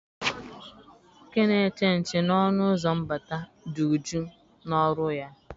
Nwoke na-eche nche n'ọnụ ụzọ mbata dị uju na ọrụ ya.